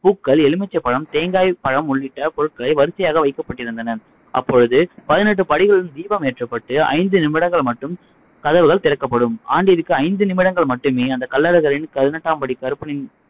பூக்கள், எலுமிச்சம்பழம், தேங்காய், பழம் உள்ளிட்ட பொருட்களை வரிசையாக வைக்கப்பட்டிருந்தன. அப்பொழுது பதினெட்டு படிகளிலிலும் தீபம் ஏற்றப்பட்டு ஐந்து நிமிடங்கள் மட்டும் கதவுகள் திறக்கப்படும் ஆண்டிற்கு ஐந்து நிமிடங்கள் மட்டுமே அந்த கள்ளழகரின் பதினெட்டாம் படி கருப்பனின்